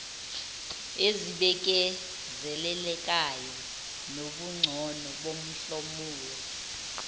ezibikezelekayo nobungcono bomhlomulo